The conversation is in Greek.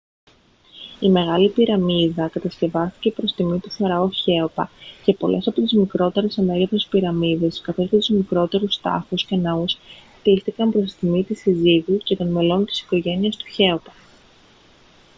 η μεγάλη πυραμίδα κατασκευάστηκε προς τιμή του φαραώ χέοπα και πολλές από τις μικρότερες σε μέγεθος πυραμίδες καθώς και τους μικρότερους τάφους και ναούς χτίστηκαν προς τιμή της συζύγου και των μελών της οικογένειας του χέοπα